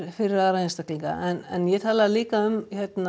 fyrir aðra einstaklinga en ég talaði líka um